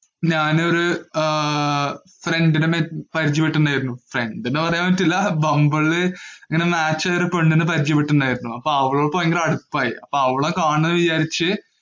ഞാനൊരു friend നെ പരിചയപ്പെട്ടിട്ടുണ്ടായിരുന്നു. friend എന്ന് പറയാന്‍ പറ്റില്ല ബംബിള് ഇങ്ങനെ മാര്‍ച്ച് വരെ കൊണ്ട് വന്നു പരിചയപ്പെട്ടിട്ടുണ്ടായിരുന്നു. അവളുമായി ഭയങ്കര അടുപ്പമായി. അപ്പം അവളെ കാണണം എന്ന് വിചാരിച്ച്